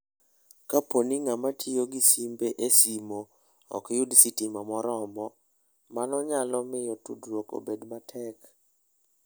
Kapo ni ng'ama tiyo gi simbe e simo ok yud sitima moromo, mano nyalo miyo tudruok obed matek.